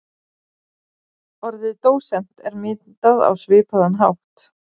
Orðið dósent er myndað á svipaðan hátt.